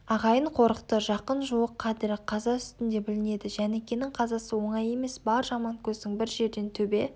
ағайын қорықты жақын-жуық қадірі қаза үстінде білінеді жәнікенің қазасы оңай емес бар жаманкөздің бір жерден төбе